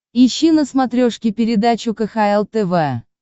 ищи на смотрешке передачу кхл тв